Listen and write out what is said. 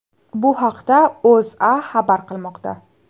Bu haqda O‘zA xabar qilmoqda .